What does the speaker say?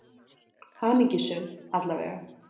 Hamingjusöm, alla vega.